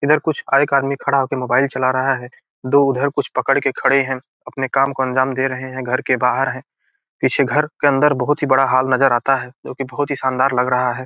इधर कुछ एक आदमी खड़ा होके मोबाइल चला रहा है दो उधर कुछ पकड़ के खड़े हैं अपने काम को अंजाम दे रहें हैं घर के बाहर हैं पीछे घर के अंदर बहुत ही बड़ा हॉल नजर आता है जोकि बहुत ही शानदार लग रहा है।